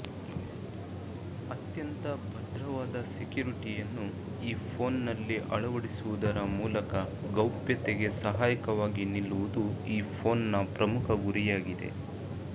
ಅತ್ಯಂತ ಭದ್ರವಾದ ಸೆಕ್ಯುರಿಟಿಯನ್ನು ಈ ಫೋನ್ನಲ್ಲಿ ಅಳವಡಿಸುವುದರ ಮೂಲಕ ಗೌಪ್ಯತೆಗೆ ಸಹಾಯಕವಾಗಿ ನಿಲ್ಲುವುದು ಈ ಫೋನ್ನ ಪ್ರಮುಖ ಗುರಿಯಾಗಿದೆ